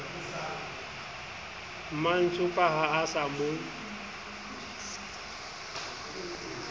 mantsopa ha a sa mo